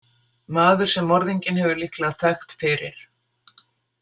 Maður sem morðinginn hefur líklega þekkt fyrir.